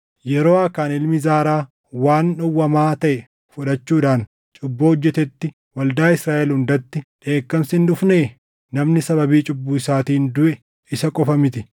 Yeroo Aakaan ilmi Zaaraa waan dhowwamaa taʼe fudhachuudhaan cubbuu hojjetetti waldaa Israaʼel hundatti dheekkamsi hin dhufnee? Namni sababii cubbuu isaatiin duʼe isa qofa miti.’ ”